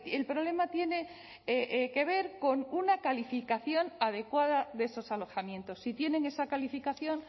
el problema tiene que ver con una calificación adecuada de esos alojamientos si tienen esa calificación